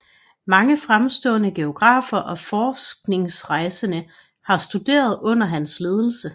Mange fremstående geografer og forskningsrejsende har studeret under hans ledelse